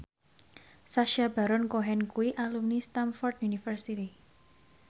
Sacha Baron Cohen kuwi alumni Stamford University